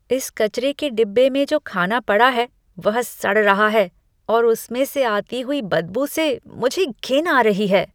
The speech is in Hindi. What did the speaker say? इस कचरे के डिब्बे में जो खाना पड़ा है वह सड़ रहा है और उसमें से आती हुई बदबू से मुझे घिन आ रही है।